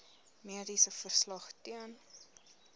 mediese verslag ten